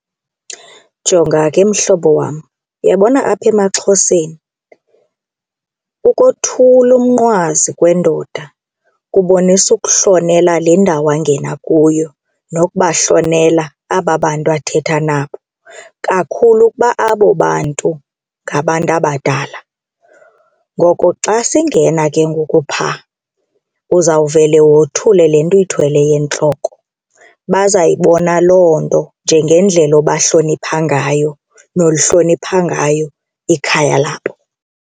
Jonga ke, mhlobo wam, uyabona apha emaXhoseni ukothula umnqwazi kwendoda kubonisa ukuhlonela le ndawo angena kuyo nokubahlonela aba bantu athetha nabo kakhulu ukuba abo bantu ngabantu abadala. Ngoko xa singena ke ngoku phaa uzawuvele wothule le nto uyithweleyo entloko. Bazayibona loo nto njengendlela obahlonipha ngayo nolihlonipha ngayo ikhaya labo.